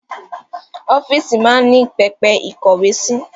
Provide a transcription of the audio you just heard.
Ọ́fíìsì máa ń ní pẹpẹ ìkówe sí